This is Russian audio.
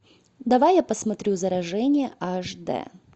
давай я посмотрю заражение аш д